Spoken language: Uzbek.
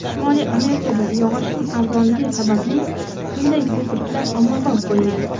Shimoliy Amerikada yog‘ochning arzonligi sababli bunday ko‘priklar ommabop bo‘lgan.